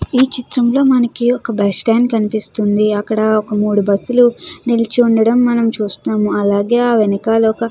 ఈ చిత్రంలో మనకి ఒక బస్టాండ్ కనిపిస్తుంది అక్కడ ఒక మూడు బస్సు లు నిలిచి ఉండడం మనం చూస్తాము అలాగే ఆ వెనకాల ఒక --